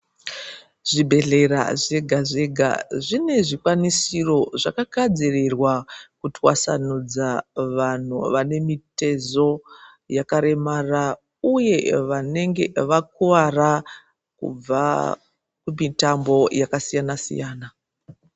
Zvibhedhlera zvega zvega zvine zvikwanisiro zvakagadzirirwa kutwasanudza vanhu vane mitezo yakaremara uye vanenge vakuwara kubva kumitambo yakasiyana siyana.